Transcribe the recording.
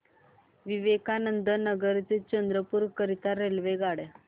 विवेकानंद नगर ते चंद्रपूर करीता रेल्वेगाड्या